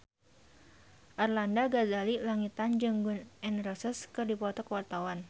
Arlanda Ghazali Langitan jeung Gun N Roses keur dipoto ku wartawan